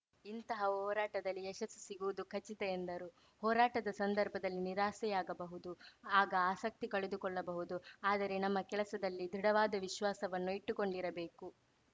ಇಂತಹ ಹೋರಾಟದಲ್ಲಿ ಯಶಸ್ಸು ಸಿಗುವುದು ಖಚಿತ ಎಂದರು ಹೋರಾಟದ ಸಂದರ್ಭದಲ್ಲಿ ನಿರಾಸೆಯಾಗಬಹುದು ಆಗ ಆಸಕ್ತಿ ಕಳೆದುಕೊಳ್ಳಬಹುದು ಆದರೆ ನಮ್ಮ ಕೆಲಸದಲ್ಲಿ ದೃಢವಾದ ವಿಶ್ವಾಸವನ್ನು ಇಟ್ಟುಕೊಂಡಿರಬೇಕು